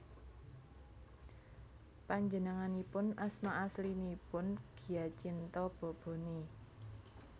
Panjenenganipun asma aslinipun Giacinto Bobone